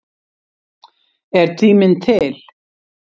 Er tíminn til?